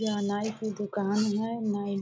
यह नाई की दुकान है। नाई --